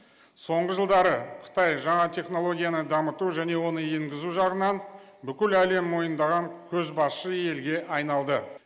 соңғы жылдары қытай жаңа технологияны дамыту және оны енгізу жағынан бүкіл әлем мойындаған көзбасшы елге айналды